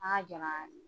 An ka jama